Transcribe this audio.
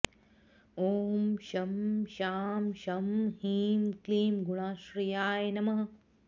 ॐ शं शां षं ह्रीं क्लीं गुणाश्रयाय नमः